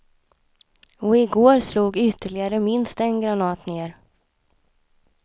Och i går slog ytterligare minst en granat ned.